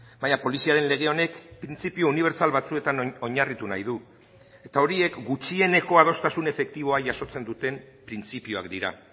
baina poliziaren lege honek printzipio unibertsal batzuetan oinarritu nahi du eta horiek gutxieneko adostasun efektiboa jasotzen duten printzipioak dira